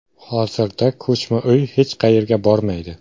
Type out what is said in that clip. Hozirda ko‘chma uy hech qayerga bormaydi.